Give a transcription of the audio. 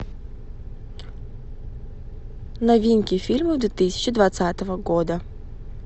новинки фильмов две тысячи двадцатого года